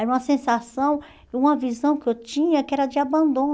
Era uma sensação, uma visão que eu tinha que era de